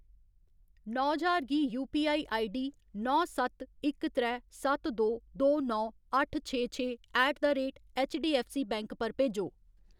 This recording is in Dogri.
नौ ज्हार गी यूपीआई आईडीडी नौ सत्त इक त्रै सत्त दो दो नौ, अट्ठ छे छे ऐट द रेट ऐच्चडीऐफ्फसीबैंक पर भेजो।